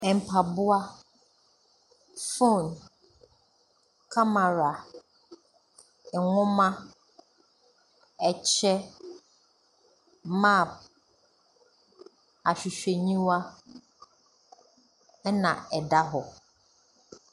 Mpaboa, phone, kamera, nwoma, kyɛ, map, ahwehwɛniwa ɛnna ɛda hɔ.